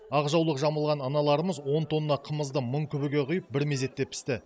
ақ жаулық жамылған аналарымыз он тонна қымызды мың күбіге құйып бір мезетте пісті